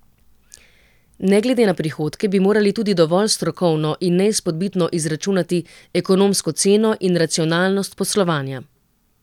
Ne glede na prihodke bi morali tudi dovolj strokovno in neizpodbitno izračunati ekonomsko ceno in racionalnost poslovanja.